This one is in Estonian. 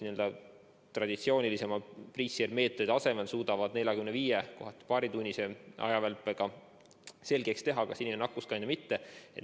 Traditsioonilisemate testide asemel suudavad need nelja- või viietunnise-, vahel paaritunnise ajavälpega selgeks teha, kas inimene on nakkuskandja või mitte.